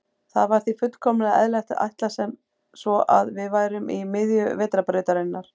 Það var því fullkomlega eðlilegt að ætla sem svo að við værum í miðju Vetrarbrautarinnar.